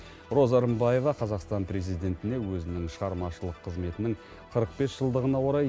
роза рымбаева қазақстан президентіне өзінің шығармашылық қызметінің қырық бес жылдығына орай